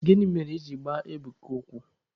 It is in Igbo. Gịnị mere I ji gbaa Ebuka ụkwụ?